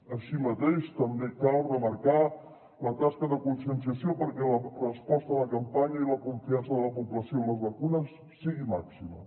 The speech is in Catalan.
així mateix també cal remarcar la tasca de conscienciació perquè la resposta a la campanya i la confiança de la població en les vacunes sigui màxima